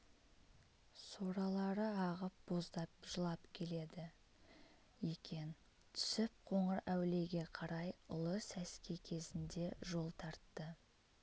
соралары ағып боздап жылап келеді екен түсіп қоңырәулиеге қарай ұлы сәске кезінде жол тартты